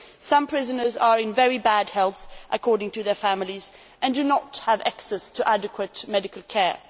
Some prisoners are in very bad health, according to their families, and do not have access to adequate medical care.